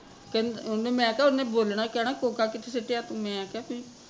ਕਹਿਦ ਮੈਂ ਕਿਹਾ ਉਹਨੇ ਬੋਲਣਾ ਕਹਿਣਾ ਕੋਕਾ ਕਿੱਥੇ ਸੁੱਟਿਆ ਮੈਂ ਕਿਹਾ ਫਿਰ